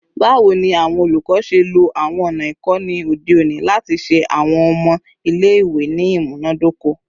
Bawo ni awọn olukọ ṣe lo awọn ọna ikọni ode oni lati ṣe awọn ọmọ ile-iwe ni imunadoko?